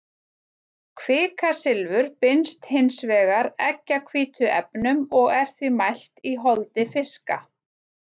kvikasilfur binst hins vegar eggjahvítuefnum og er því mælt í holdi fiska